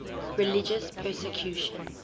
religious persecution